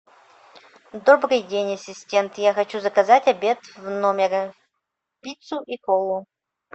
добрый день ассистент я хочу заказать обед в номер пиццу и колу